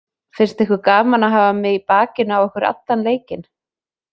Finnst ykkur gaman að hafa mig í bakinu á ykkur allan leikinn?